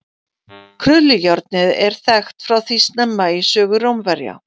krullujárnið er þekkt frá því snemma í sögu rómverja